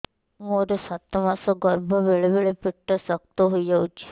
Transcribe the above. ମୋର ସାତ ମାସ ଗର୍ଭ ବେଳେ ବେଳେ ପେଟ ଶକ୍ତ ହେଇଯାଉଛି